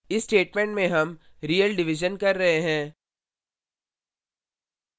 इस statement में हम real division कर रहे हैं